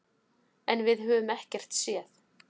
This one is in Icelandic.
En við höfum ekkert séð.